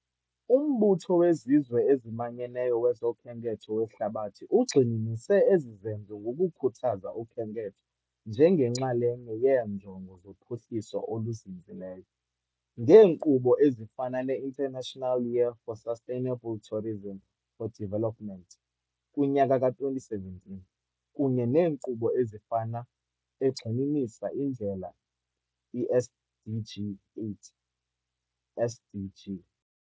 UMbutho weZizwe eziManyeneyo wezoKhenketho weHlabathi ugxininise ezi zenzo ngokukhuthaza ukhenketho njengenxalenye yeeNjongo zoPhuhliso oluZinzileyo, ngeenkqubo ezifana ne- International Year for Sustainable Tourism for Development kwi-2017, kunye neenkqubo ezifana ne- egxininisa indlela i -SDG 8, SDG.